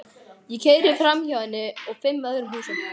Ég keyri framhjá henni og fimm öðrum húsum.